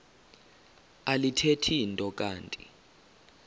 alithethi nto kanti